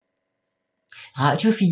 Radio 4